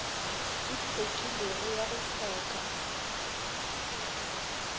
e hlwekilego ya go hloka